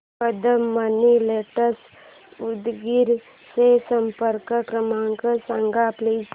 Kadam money lenders Udgir चा संपर्क क्रमांक सांग प्लीज